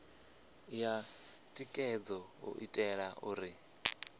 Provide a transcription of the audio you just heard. ya thikhedzo u itela uri